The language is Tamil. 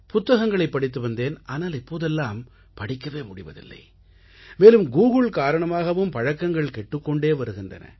புத்தகங்களைப் படித்து வந்தேன் ஆனால் இப்போதெல்லாம் படிக்கவே முடிவதில்லை மேலும் கூகுள் காரணமாகவும் பழக்கங்கள் கெட்டுக் கொண்டு வருகின்றன